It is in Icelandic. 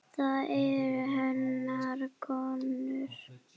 Það eru hennar konur.